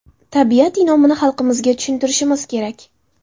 Tabiat in’omini xalqimizga tushuntirishimiz kerak.